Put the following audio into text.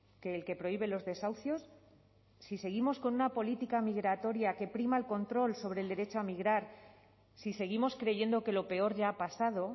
que el que prohíbe los desahucios si seguimos con una política migratoria que prima el control sobre el derecho a migrar si seguimos creyendo que lo peor ya ha pasado